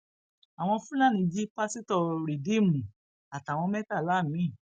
àwọn fúlàní jí pásítọ rìdíìmù àtàwọn mẹtàlá mi